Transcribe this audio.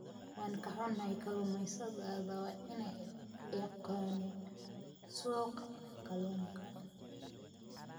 Waan ka xunnahay, kalluumaysatada waa inay yaqaaniin suuqa kalluunka.